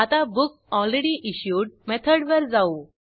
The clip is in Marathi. आता बुकलरेडीइश्युड मेथडवर जाऊ